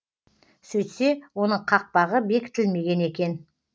сөйтсе оның қақпағы бекітілмеген екен